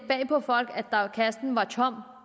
bag på folk at kassen var tom